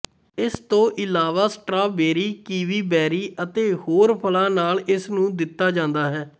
ਇਸ ਤੋਂ ਇਲਾਵਾ ਸਟ੍ਰਾਬੇਰੀ ਕੀਵੀ ਬੈਰੀ ਅਤੇ ਹੋਰ ਫਲਾਂ ਨਾਲ ਇਸਨੂੰ ਦਿੱਤਾ ਜਾਂਦਾ ਹੈ